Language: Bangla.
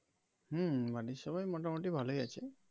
হম বাড়ির সবাই মোটামোটি ভালোই আছে.